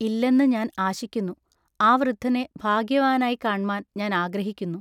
ഇല്ലെന്നു ഞാൻ ആശിക്കുന്നു. ആ വൃദ്ധനെ ഭാഗ്യവാനായിക്കാണ്മാൻ ഞാൻ ആഗ്രഹിക്കുന്നു.